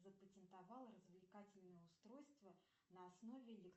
запатентовал развлекательное устройство на основе